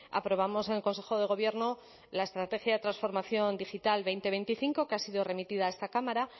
aprobamos en consejo de gobierno la estrategia de transformación digital dos mil veinticinco que ha sido remitida a esta cámara